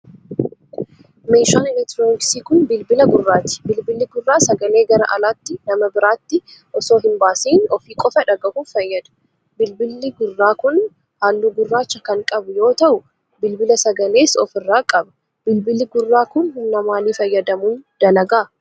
Meeshaan elektirooniksii kun, bilbila gurraati. Bilbilli gurraa sagalee gara alaatti nama biraatti osoo hin baasin ofii qofa dhagahuuf fayyada. Bilbilli gurraa kun, haalluu gurraacha kan qabu yoo ta'u, bilbila sagalees of irraa qaba. Bilbilli gurraa kun, humna maalii fayyadamuun dalaga?